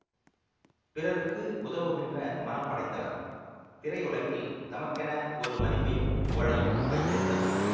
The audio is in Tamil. பிறருக்கு உதவுகின்ற மனம் படைத்தவர் திரையுலகில் தமக்கென ஒரு மதிப்பையும் புகழையும் வைத்திருந்தவர்